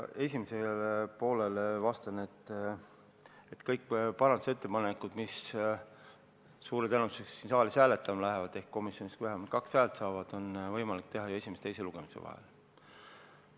Esimesele poolele vastan, et kõiki parandusettepanekuid, mis suure tõenäosusega siin saalis hääletamisele lähevad ehk komisjonis vähemalt kaks häält saavad, on võimalik teha ju esimese ja teise lugemise vahel.